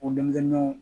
O denmisɛnninw